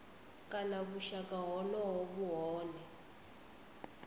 kana vhushaka honoho vhu hone